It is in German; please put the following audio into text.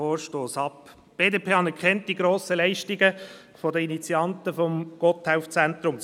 Die BDP anerkennt die grossen Leistungen der Initianten des Gotthelf-Zentrums.